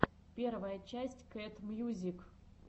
первая часть кэт мьюзик